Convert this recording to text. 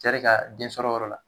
cɛ de ka den sɔrɔ yɔrɔ la